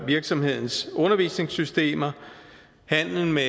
virksomhedens undervisningssystemer handel med